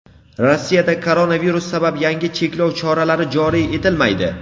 Rossiyada koronavirus sabab yangi cheklov choralari joriy etilmaydi.